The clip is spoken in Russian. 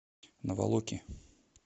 наволоки